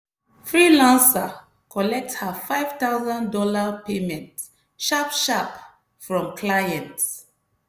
freelancer collect her five thousand dollars payment sharp sharp from client.